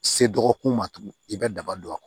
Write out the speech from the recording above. Se dɔgɔkun ma tugun i bɛ daba don a